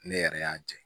Ne yɛrɛ y'a jɛ